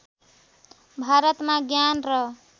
भारतमा ज्ञान र